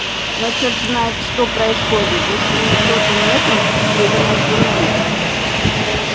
но чёрт знает что происходит за семисотым метром в северном туннеле